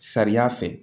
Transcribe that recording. Sariya fɛ